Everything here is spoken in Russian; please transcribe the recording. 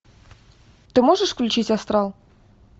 ты можешь включить астрал